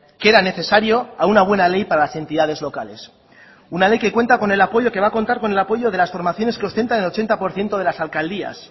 que era necesario a una buena ley para las entidades locales una ley que cuenta con el apoyo que va a contar con el apoyo de las formaciones que ostentan el ochenta por ciento de las alcaldías